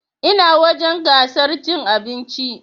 Ina wurin gasar cin abinci